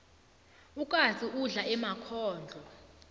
ukatsu udla emakhondlo